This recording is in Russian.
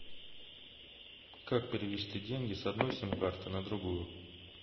как перевести деньги с одной сим карты на другую